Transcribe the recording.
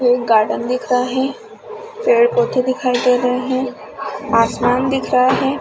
एक गार्डन दिख रहा है पेड़ -पौधे दिखाई दे रहॆ है आसमान दिख रहा है ।